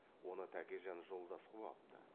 оны тәкежан жолдас қып алыпты